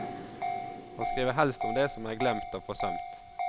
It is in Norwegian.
Han skriver helst om det som er glemt og forsømt.